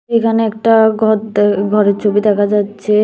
এখানে একটা ঘর দ ঘরের ছবি দেখা যাচ্ছে।